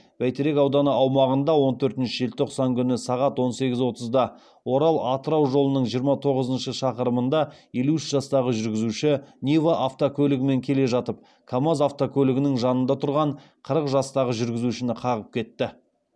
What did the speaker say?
бәйтерек ауданы аумағында он төртінші желтоқсан күні сағат он сегіз отызда орал атырау жолының жиырма тоғызыншы шақырымында елу үш жастағы жүргізуші нива автокөлігімен келе жатып камаз автокөлігінің жанында тұрған қырық жастағы жүргізушіні қағып кетті